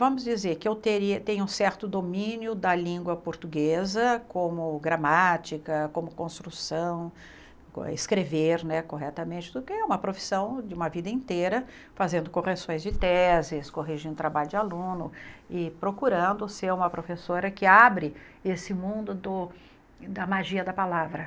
Vamos dizer que eu teria tenho um certo domínio da língua portuguesa, como gramática, como construção, escrever né corretamente, porque é uma profissão de uma vida inteira, fazendo correções de teses, corrigindo trabalho de aluno e procurando ser uma professora que abre esse mundo do da magia da palavra.